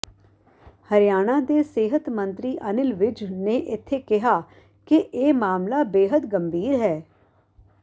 ਹਰਿਆਣਾ ਦੇ ਸਿਹਤ ਮੰਤਰੀ ਅਨਿਲ ਵਿਜ ਨੇ ਇੱਥੇ ਕਿਹਾ ਕਿ ਇਹ ਮਾਮਲਾ ਬੇਹਦ ਗੰਭੀਰ ਹੈ